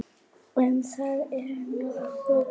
Um það eru nokkur dæmi.